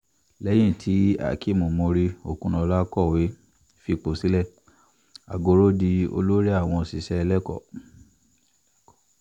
lẹ́yìn tíhakeem muri-okunola kọ̀wé fipò sílẹ̀ àgọ́rọ́ di olórí àwọn òṣìṣẹ́ lẹ́kọ̀ọ́